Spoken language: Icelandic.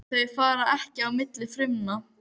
Þau fara ekki á milli frumna.